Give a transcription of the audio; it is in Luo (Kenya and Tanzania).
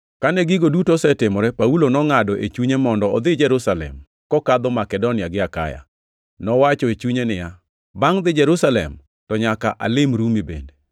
Kane gigo duto osetimore, Paulo nongʼado e chunye mondo odhi Jerusalem, kokadho Makedonia gi Akaya. Nowacho e chunye niya, “Bangʼ dhi Jerusalem, to nyaka alim Rumi bende.”